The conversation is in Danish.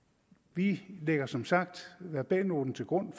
vi lægger som sagt verbalnoten til grund